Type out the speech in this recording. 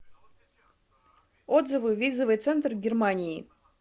отзывы визовый центр германии